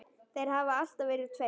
Þeir hafa alltaf verið tveir.